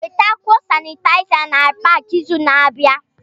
Wetakwuo Sanitaiza na Pááki izu na-abịa